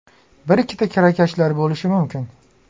Bir-ikkita kirakashlar bo‘lishi mumkin.